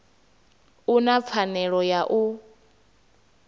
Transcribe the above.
u na pfanelo ya u